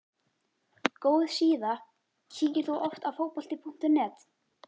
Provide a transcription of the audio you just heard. Góð síða Kíkir þú oft á Fótbolti.net?